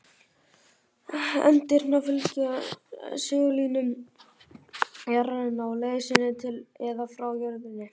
Eindirnar fylgja segullínum jarðarinnar á leið sinni til eða frá jörðinni.